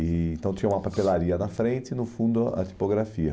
E então tinha uma papelaria na frente e no fundo a tipografia.